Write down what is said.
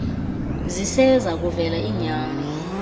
ziseza kuvela iinyani